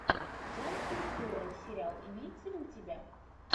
джон туртурро сериал имеется ли у тебя